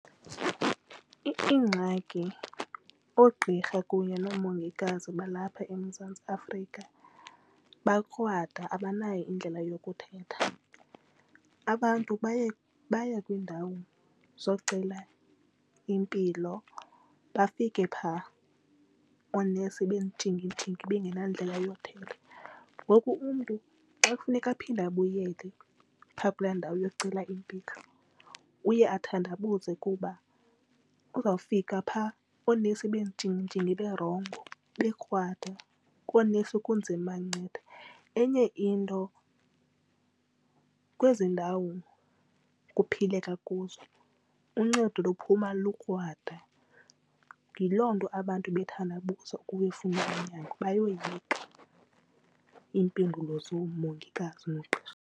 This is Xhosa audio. Iingxaki oogqirha kunye nomongikazi balapha eMzantsi Afrika bakrwada, abanayo indlela yokuthetha. Abantu baya kwiindawo zocela impilo bafike phaa oonesi bentshingintshingi bangenandlela yothetha. Ngoku umntu xa kufuneka aphinde abuyele phaa kulaa ndawo yocela impilo uye athandabuze kuba kuzawufika pha oonesi bentshingintshingi berongo bekrwada koonesi kunzima ubanceda. Enye into kwezi ndawo kuphileka kuzo, uncedo luphuma lukrwada, yiloo nto abantu bethandabuze uyofuna unyango bayoyika iimpendulo zoomongikazi nooqqirha.